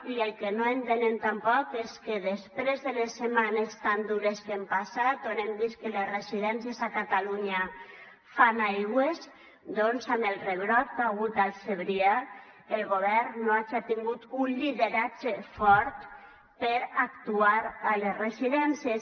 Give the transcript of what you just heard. i el que no entenem tampoc és que després de les setmanes tan dures que hem passat on hem vist que les residències a catalunya fan aigües doncs amb el rebrot que hi ha hagut al segrià el govern no hagi tingut un lideratge fort per actuar a les residències